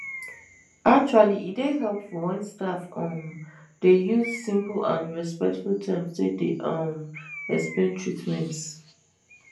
actually e dey helpful wen staff um dey use simple and respectful terms take dey um explain treatments